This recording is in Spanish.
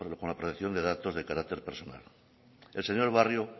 con la protección de datos de carácter personal el señor barrio